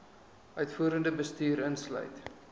uitvoerende bestuur insluit